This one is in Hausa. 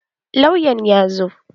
Lauyan ya zo.